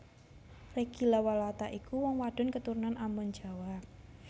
Reggy Lawalata iku wong wadon keturunan Ambon Jawa